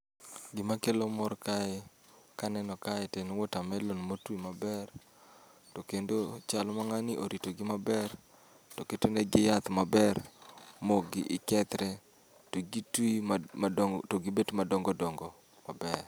Gima kelo mor kae, kaneno kae to en watermelon motwi maber. To kendo chal ma ng'ani oritogi maber, to keto negi yath maber. Mokgi i kethre, to gitwi madongo to gibet madongo dongo maber.